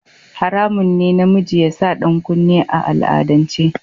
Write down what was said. Haramun ne namiji ya sa ɗankunne a al'adance.